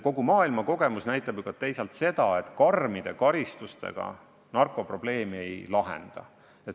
Kogu maailma kogemus näitab ju ka seda, et karmide karistustega narkoprobleemi ei lahenda.